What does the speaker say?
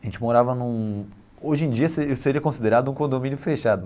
A gente morava num... Hoje em dia seria seria considerado um condomínio fechado.